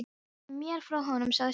Segðu mér frá honum sagði stúlkan.